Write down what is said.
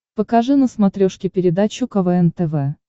покажи на смотрешке передачу квн тв